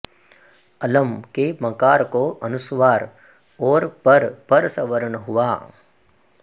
अलम् के मकार को अनुस्वार और पर परसवर्ण हुआ